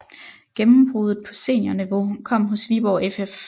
Gennembruddet på seniorniveau kom hos Viborg FF